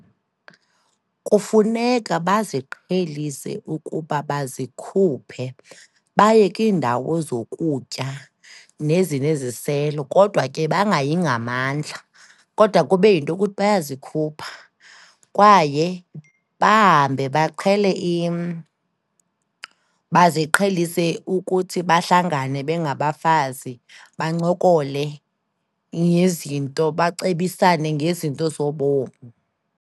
Kufuneka baziqhelise ukuba bazikhuphe baye kwiindawo zokutya nezineziselo, kodwa ke bangayi ngamandla, kodwa kube yinto yokuthi bayazikhupha kwaye bahambe, baqhele baziqhelise ukuthi bahlangane bengabafazi, bancokole ngezinto, bacebisane ngezinto zobomi.